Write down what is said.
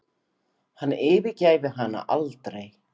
Hann yfirgæfi hana aldrei.